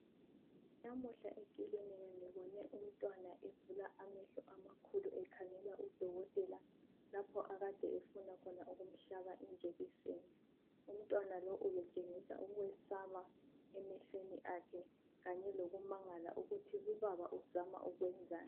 Namuhla ekilinika ngibone umntwana evula amehlo amakhulu ekhangela lapho UDokotela akade efuna ukumhlaba khona ijekiseni. Umntwana lo ubetshengisa ukwesaba emehlweni akhe kanye lokumangala ukuthi lubaba uzama ukwenzani.